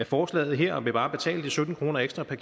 forslaget her og vil bare betale de sytten kroner ekstra per